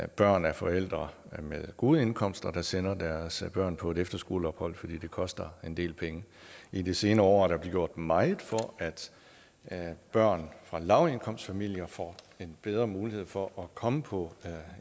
børn af forældre med gode indkomster der sender deres børn på et efterskoleophold for det koster en del penge i de senere år er der blevet gjort meget for at børn fra lavindkomstfamilier får en bedre mulighed for at komme på